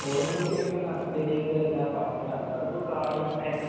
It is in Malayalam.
ഓടുമ്പോള്‍ ശരിക്കും എന്താണ് ശരീരത്തിന്‍റെ എല്ലാ ഭാഗങ്ങളും അനങ്ങും. അതിപ്പോ കായികം